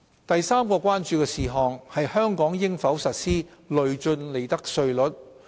第三項關注是香港應否實施累進利得稅率。